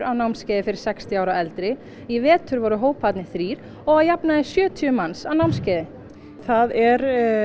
námskeiði fyrir sextíu ára og eldri í vetur voru hóparnir orðnir þrír og að jafnaði sjötíu manns á námskeiði það er